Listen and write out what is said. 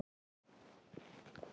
Og kennt.